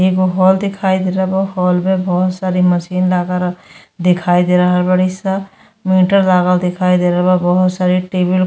एगो हॉल दिखाई दे रहल बा। हॉल में बहोत सारी मशीन लागल दिखाई दे रहल बाड़ी स। मीटर लागल दिखाई दे रहल बा। बहोत सारे टेबल --